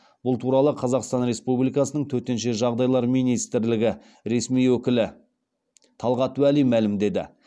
бұл туралы қазақстан республикасының төтенше жағдайлар министрлігі ресми өкілі талғат уәли мәлімдеді